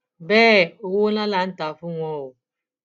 bẹẹ owó ńlá là ń tà á fún wọn o